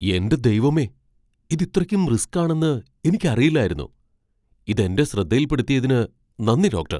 എന്റെ ദൈവമേ! ഇത് ഇത്രക്കും റിസ്ക് ആണെന്ന് എനിക്ക് അറിയില്ലായിരുന്നു. ഇത് എന്റെ ശ്രദ്ധയിൽപ്പെടുത്തിയതിന് നന്ദി, ഡോക്ടർ.